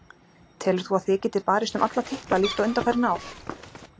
Telur þú að þið getið barist um alla titla líkt og undanfarin ár?